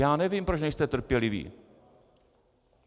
Já nevím, proč nejste trpěliví.